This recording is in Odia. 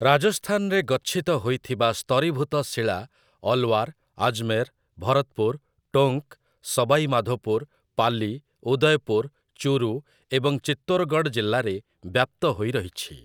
ରାଜସ୍ଥାନରେ ଗଚ୍ଛିତ ହୋଇଥିବା ସ୍ତରୀଭୂତ ଶିଳା ଅଲୱାର, ଆଜମେର, ଭରତପୁର, ଟୋଙ୍କ, ସବାଇ ମାଧୋପୁର, ପାଲି, ଉଦୟପୁର, ଚୁରୁ ଏବଂ ଚିତୋରଗଡ଼ ଜିଲ୍ଲାରେ ବ୍ୟାପ୍ତ ହୋଇ ରହିଛି ।